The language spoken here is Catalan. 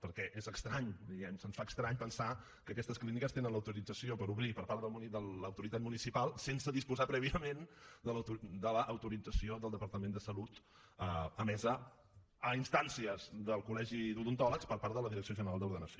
perquè és estrany diguem ne se’ns fa estrany pensar que aquestes clíniques tenen l’autorització per obrir per part de l’autoritat municipal sense disposar prèviament de l’autorització del departament de salut emesa a instàncies del col·legi d’odontòlegs per part de la direcció general d’ordenació